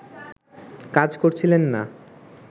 কাজ করছিলেন না